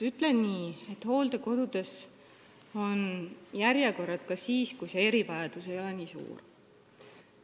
Ütlen nii, et järjekord on ka siis, kui erivajadus ei ole nii suur.